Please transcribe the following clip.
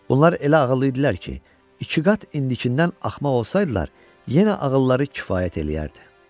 Bunlar elə ağıllı idilər ki, ikiqat indikindən axmaq olsaydılar, yenə ağılları kifayət eləyərdi.